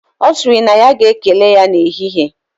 Osiri na ya ga ekele ya na ehihe